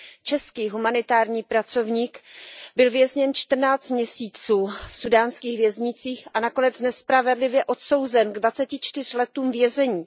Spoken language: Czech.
Český humanitární pracovník byl vězněn čtrnáct měsíců v súdánských věznicích a nakonec nespravedlivě odsouzen ke dvaceti čtyřem letům vězení.